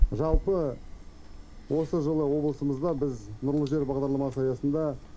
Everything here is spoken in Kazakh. жалпы осы жылы облысымызда нұрлы жер бағдарламасы аясында